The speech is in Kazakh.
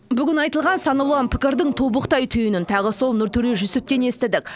бүгін айтылған сан алуан пікірдің тобықтай түйінін тағы сол нұртөре жүсіптен естідік